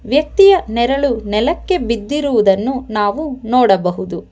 ವ್ಯಕ್ತಿಯ ನೆರಳು ನೆಲಕ್ಕೆ ಬಿದ್ದಿರುವುದನ್ನು ನಾವು ನೋಡಬಹುದು.